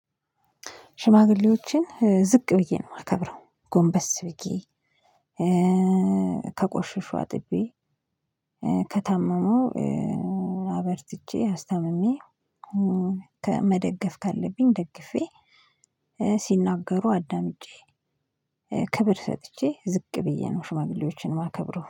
ሽማግሌዎችን ዝቅ ብዬ ነው ማከብረው ጎንበስ ከቆሽሹ አጥቤ ከታመሙ አበርትቼ አስታምሜ ከመደገፍ ካለብኝ ደግፌ ሲናገሩ አዳምጬ ክብር ሰጥቼ ዝቅ ብዬ ነው ሽማግሌዎችን የማከብረው